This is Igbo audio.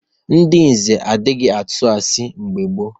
Ndị Nze adịghị atụ asị mgbe gboo.